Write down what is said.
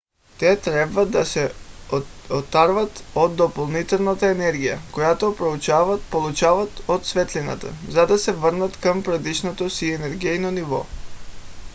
те трябва да се отърват от допълнителната енергия която получават от светлината за да се върнат към предишното си енергийно ниво